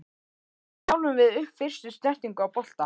Hvernig þjálfum við upp fyrstu snertingu á bolta?